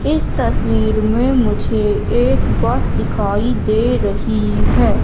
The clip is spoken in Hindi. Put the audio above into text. इस तस्वीर में मुझे एक बस दिखाई दे रही है।